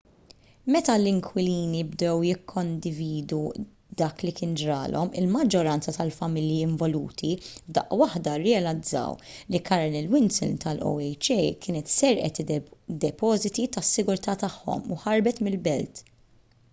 meta l-inkwilini bdew jikkondividu dak li kien ġralhom il-maġġoranza tal-familji involuti f'daqqa waħda rrealizzaw li carolyn wilson tal-oha kienet serqet id-depożiti tas-sigurtà tagħhom u ħarbet mill-belt